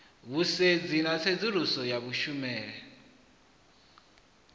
vhusedzi na tsedzuluso ya kushumele